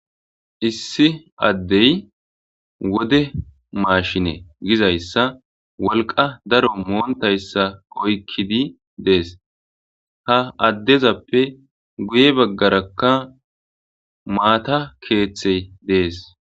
issi addey wode maashine gizayssa wolqa daro moontayssa oykkidi dees ha addezappe guye baggarakka maata keeththey dees